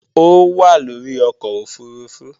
Ó wà lórí ọkọ̀ òfurufú